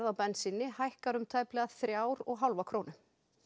á bensíni hækkar um tæplega þrjár og hálfa krónu